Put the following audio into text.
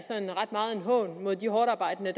en hån mod de hårdtarbejdende